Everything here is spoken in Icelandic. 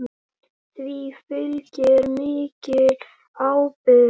Því fylgir mikil ábyrgð.